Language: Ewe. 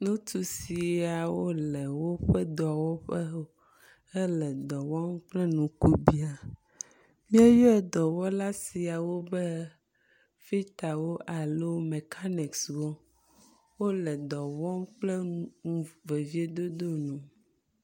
nutsusiawo le wóƒe dɔwɔƒe hele dɔwɔm kple nukubiã mieyɔ dɔwɔla siawo be fitawo alo mɛkanikswo wóle dɔwɔm kple vevĩe dodoe